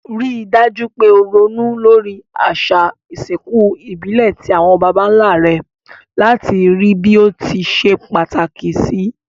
Rí dájú pe o ronú lórí àsà ìsinkù ìbílè ti àwon bàbánlá re làti bí o ti se pàtàkì sì